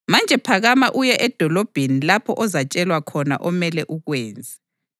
Manje phakama uye edolobheni lapho ozatshelwa khona omele ukwenze.”